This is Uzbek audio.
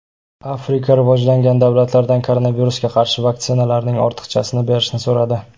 Afrika rivojlangan davlatlardan koronavirusga qarshi vaksinalarning ortiqchasini berishni so‘radi.